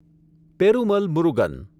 Perumal Murugan